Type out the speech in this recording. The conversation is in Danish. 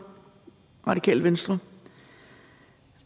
radikale venstre